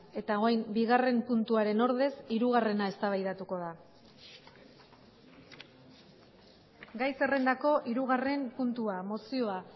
eta orain bigarren puntuaren ordez hirugarrena eztabaidatuko da gai zerrendako hirugarren puntua mozioa